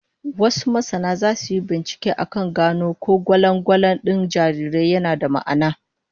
Wasu masana zasu yi binciken akan gano ko gwalangwalan din jarirai yana da ma'ana.